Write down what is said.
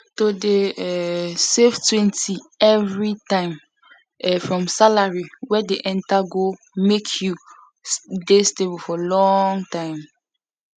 to dey um savetwentyevery time um from salary wey dey enter go make you dey stable for long time um